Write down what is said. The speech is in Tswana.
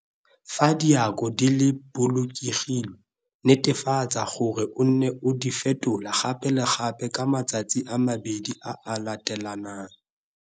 Fa diako di bolokilwe, netefatsa gore o nne o di fetola gape le gape ka matsatsi a mabedi a a letelanang.